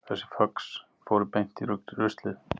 Þessi föx fóru beint í ruslið